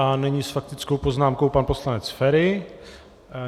A nyní s faktickou poznámkou pan poslanec Feri.